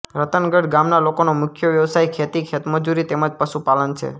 રતનગઢ ગામના લોકોનો મુખ્ય વ્યવસાય ખેતી ખેતમજૂરી તેમ જ પશુપાલન છે